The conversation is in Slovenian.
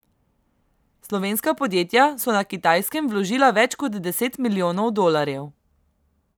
Slovenska podjetja so na Kitajskem vložila več kot deset milijonov dolarjev.